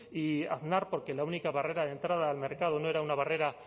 y aznar porque la única barrera de entrada al mercado no era una barrera